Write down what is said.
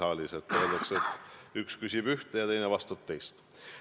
Öeldakse ikka, et üks küsib ühte ja teine vastab teist.